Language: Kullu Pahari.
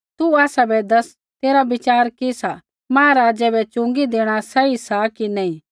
तू आसाबै दस तेरा विचार कि सा महाराज़ै बै च़ुँगी देणा सही सा कि नी